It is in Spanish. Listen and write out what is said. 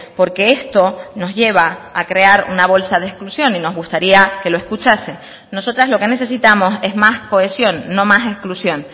porque esto nos lleva a crear una bolsa de exclusión y nos gustaría que lo escuchase nosotras lo que necesitamos es más cohesión no más exclusión